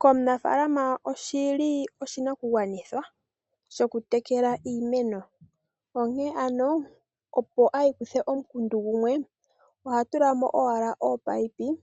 Komunafalama oshi li oshinakugwanithwa shokutekela iimeno onkene ano, opo i ikuthe omukundu gumwe oha tula mo owala ominino